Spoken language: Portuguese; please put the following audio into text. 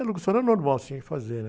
A locução era normal, tinha que fazer, né?